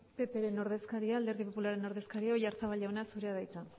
alderdi popularraren ordezkaria oyarzabal jauna zurea da hitza